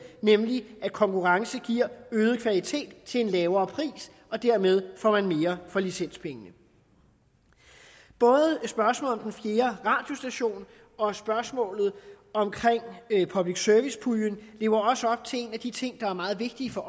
nemlig at konkurrence giver øget kvalitet til en lavere pris og dermed får man mere for licenspengene både spørgsmålet om den fjerde radiostation og spørgsmålet om public service puljen lever også op til en af de ting der er meget vigtige for